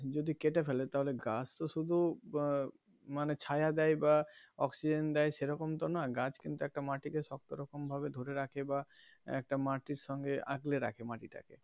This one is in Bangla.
যদি কেটে ফেলে তাহলে গাছ তো শুধু মানে ছায়া দেয় বা অক্সিজেন দেয় সেরকম তো নয় গাছ কিন্ত একটা মাটি কে শক্ত রকম ভাবে ধরে রাখে বা একটা মাটির সঙ্গে আঁকড়ে রাখে মাটি টাকে.